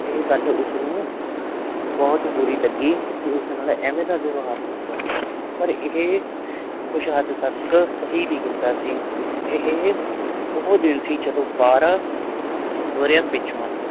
ਇਹ ਗੱਲ ਉਸਨੂੰ ਬਹੁਤ ਬੁਰੀ ਲੱਗੀ ਕਿ ਉਸ ਨਾਲ ਇਵੇਂ ਦਾ ਵਿਵਹਾਰ ਕੀਤਾ ਪਰ ਇਹ ਕੁਛ ਹੱਦ ਤੱਕ ਸਹੀ ਵੀ ਕੀਤਾ ਸੀ ਇਹ ਉਹ ਦਿਨ ਸੀ ਜਦੋਂ ਬਾਰਾਂ ਵਰ੍ਹਿਆਂ ਪਿੱਛੋਂ